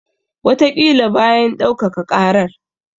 Wataƙila bayan ɗaukaka ƙarar.